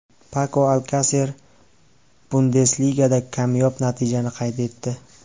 Pako Alkaser Bundesligada kamyob natijani qayd etdi.